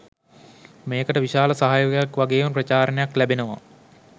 මේකට විශාල සහයෝගයක් වගේම ප්‍රචාරණයක් ලැබෙනවා